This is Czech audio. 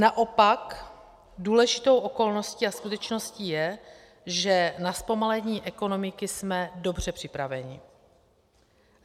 Naopak důležitou okolností a skutečností je, že na zpomalení ekonomiky jsme dobře připraveni.